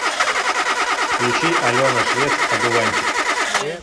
включи алена швец одуванчик